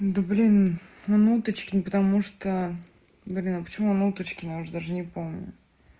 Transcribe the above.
да блин он уточкин потому что блин а почему он уточкин я уже даже не помню